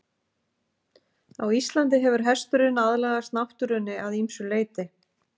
Á Íslandi hefur hesturinn aðlagast náttúrunni að ýmsu leyti.